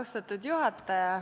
Austatud juhataja!